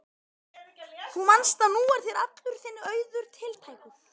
Þú manst að nú er þér allur þinn auður tiltækur.